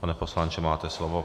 Pane poslanče, máte slovo.